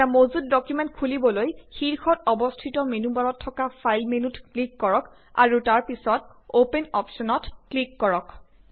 এটা মজুত ডকুমেন্ট খুলিবলৈশীৰ্ষত অৱস্থিত মেনু বাৰত থকা ফাইল মেনুত ক্লিক কৰক আৰু তাৰপিছত অপেন অপ্শ্বনত ক্লিক কৰক